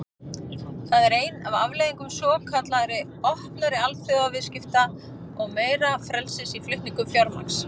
Það er ein af afleiðingum svokallaðra opnari alþjóðaviðskipta og meira frelsis í flutningum fjármagns.